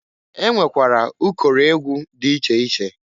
E nwekwara ụkọrọ egwu dị iche iche.